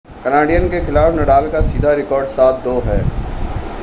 Canadian के खिलाफ Nadal का सीधा रिकॉर्ड 7-2 है